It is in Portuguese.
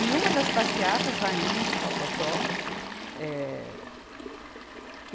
E uma das passeatas vai indo, tó, tó, tó. Eh